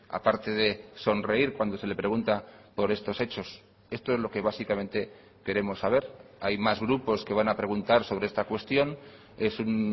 a parte de sonreír cuando se le pregunta por estos hechos esto es lo que básicamente queremos saber hay más grupos que van a preguntar sobre esta cuestión es un